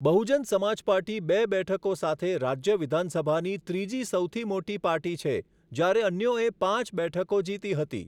Bahujan Samaj party બે બેઠકો સાથે રાજ્ય વિધાનસભાની ત્રીજી સૌથી મોટી પાર્ટી છે, જ્યારે અન્યોએ પાંચ બેઠકો જીતી હતી..